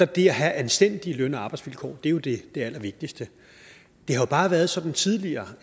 det at have anstændige løn og arbejdsvilkår er jo det allervigtigste det har jo bare været sådan tidligere